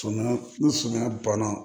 Sumaya ni suman banna